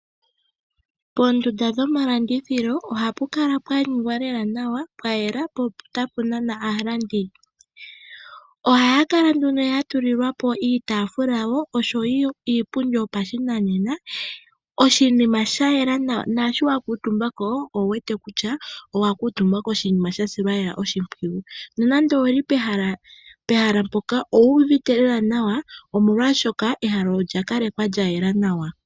Poondunda dhomalandithilo ohapu kala pwaningwa lela nawa pwayela po otapu nana aalandi. Ohaya kala nduno ya tulilwa po iitafula osho wo iipundi yopashinanena, oshinima sha yela nawa naashi wa kutumba ko owuwete lela kutya owa kutumba koshinima sha silwa oshimpwiyu. Nonando owuli pehala mpoka owu uvite lela nawa omolwashoka ehala olya kalekwa lya yela nawa.